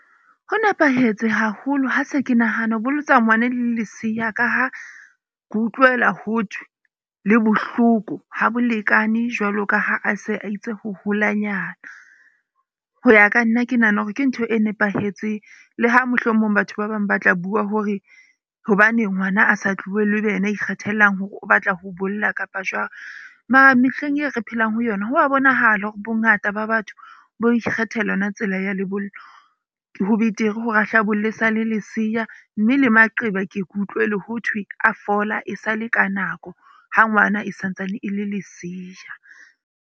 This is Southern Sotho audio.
Ho nepahetse haholo ha se ke nahana ho bolotsa ngwana e eleng leseya ka ha ke utlwela ho thwe le bohloko ha bolekane jwalo ka ha a se a itse ho holanyana. Ho ya ka nna ke nahana hore ke ntho e nepahetseng le ha mohlomong batho ba bang ba tla bua hore hobaneng ngwana a sa tlohellwe ebe yena a ikgethelang hore o batla ho bolla kapa jwang. Mara mehleng e re phelang ho yona. Ho a bonahala hore bongata ba batho bo ikgethela yona tsela ya lebollo. Ho betere hore a hle a bolle e sale leseya. Mme le maqeba ke ke utlwele ho thwe a fola e sale ka nako ha ngwana e santsane e le leseya.